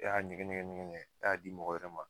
E y'a ɲɛgɛn ɲɛgɛn ɲɛgɛn ɲɛgɛn e y'a di mɔgɔ wɛrɛ ma